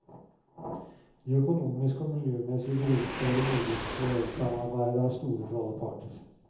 De økonomiske og miljømæssige gevinster ved det nordiske elsamarbejde er store for alle parter.